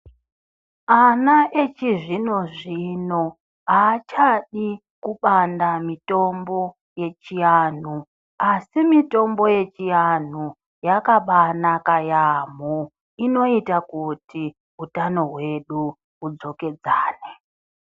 Ana echizvino-zvino haachadi kubanda mitombo yechianhu asi mitombo yechianhu yakabanaka yaambo inoita kuti utano hwedu hudzokedzane.